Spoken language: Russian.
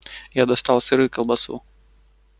я достал сыр и колбасу